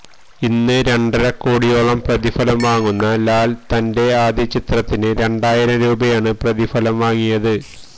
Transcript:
ഇന്ന് രണ്ടരക്കോടിയോളം പ്രതിഫലം വാങ്ങുന്ന ലാല് തന്റെ ആദ്യ ചിത്രത്തിന് രണ്ടായിരം രൂപയാണ് പ്രതിഫലം വാങ്ങിയത്